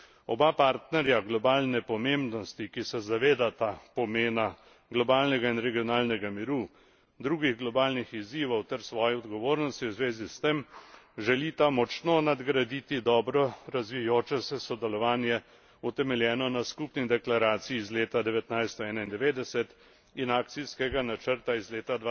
Oba partnerja globalne pomembnosti, ki se zavedata pomena globalnega in regionalnega miru, drugih globalnih izzivov ter svoje odgovornosti v zvezi s tem, želita močno nadgraditi dobro razvijajoče se sodelovanje, utemeljeno na skupni deklaraciji iz leta 1991 in akcijskega načrta iz leta